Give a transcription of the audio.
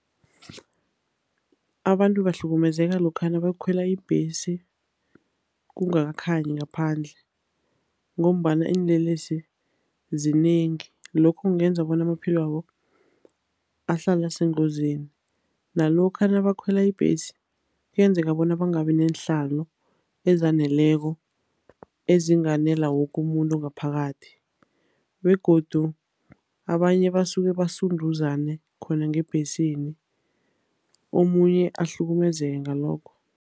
Abantu bahlukumezeka lokha nabayokukhwela ibhesi kungakakhanyi ngaphandle ngombana iinlelesi zinengi, lokho kungenza bona amaphilo wabo ahlale asengozini. Nalokha nabakhwela ibhesi, kuyenzeka bona bangabi neenhlalo ezaneleko ezinganela woke umuntu ngaphakathi begodu abanye basuke basunduzane khona ngebhesini, omunye ahlukumezeke ngalokho.